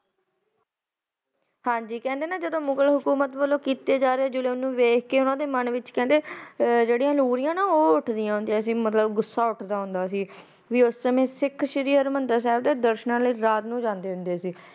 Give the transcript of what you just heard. ਹਾਂਜੀ ਕਹਿੰਦੇ ਨੇ ਜਦੋ ਮੁਗਲ ਹਕੂਮਤ ਵਲੋਂ ਕੀਤੇ ਜਾ ਰਹੇ ਜ਼ੁਲਮ ਨੂੰ ਵੇਖ ਕੇ ਓਨਾ ਦੇ ਮਨ ਵਿੱਚ ਕਹਿੰਦੇ ਜੇੜੀਆਂ ਲੂਰੀਆਂ ਨ ਉਹ ਉਠਦਿਆ ਹੁੰਦਿਆਂ ਸੀ ਮਤਲਬ ਗੁੱਸਾ ਉਠਦਾ ਹੁੰਦਾ ਸੀ। ਕਿ ਉਸ ਸਮੇਂ ਸਿੱਖ ਸ਼੍ਰੀ ਹਰਮੰਦਰ ਸਾਹਿਬ ਦੇ ਦਰਸ਼ਨਾ ਨੂੰ ਰਾਤ ਨੂੰ ਜਾਂਦੇ ਹੁੰਦੇ ਸੀ।